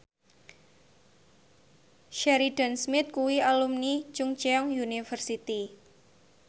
Sheridan Smith kuwi alumni Chungceong University